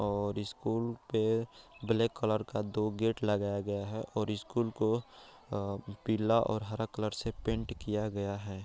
और स्कूल पे black colour का दो गेट लगाया गया है और स्कूल को पीला और हरा कलर से पेंट किया गया है।